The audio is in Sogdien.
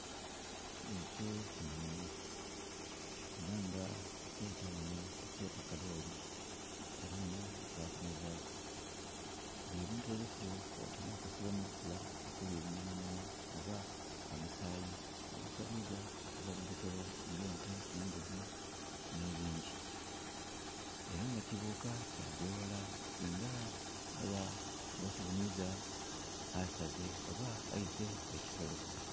Ekyo kinhonhi. Era nga tukyeta ghano, tukyeta kalooli, eliinha lyetwakinhazaaku. Ebintu ebifu kwota nh'okusiiba mu lufula okulya ebinyamanyama oba omusaayi ogusaliibwa okuva mu bisolo, ng'ente, embuzi nh'ebindhi. Era nga kibuuka kyagya eghala singa eba, kiba kighuniiza, asaze oba aise ekisolo